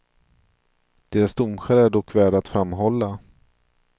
Deras domskäl är dock värda att framhålla.